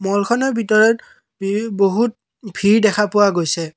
মল খনৰ ভিতৰত ভি বহুত ভিৰ দেখা পোৱা গৈছে।